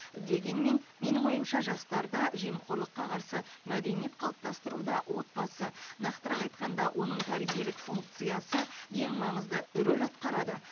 дегенмен менің ойымша жастарда жемқорлыққа қарсы мәдениет қалыптастыруда отбасы нақтырақ айтқанда оның тәрбиелік функциясы ең маңызды рөл атқарады